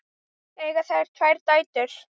Eiga þau tvær dætur.